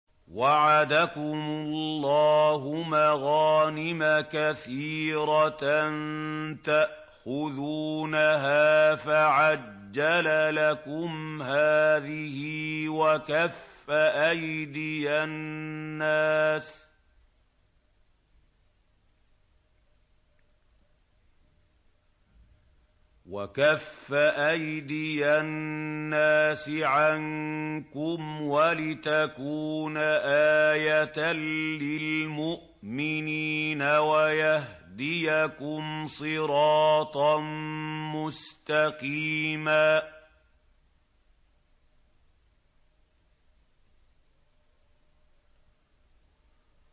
وَعَدَكُمُ اللَّهُ مَغَانِمَ كَثِيرَةً تَأْخُذُونَهَا فَعَجَّلَ لَكُمْ هَٰذِهِ وَكَفَّ أَيْدِيَ النَّاسِ عَنكُمْ وَلِتَكُونَ آيَةً لِّلْمُؤْمِنِينَ وَيَهْدِيَكُمْ صِرَاطًا مُّسْتَقِيمًا